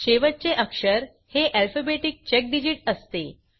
शेवटचे अक्षर हे अल्फाबेटिक चेक डिजिट असते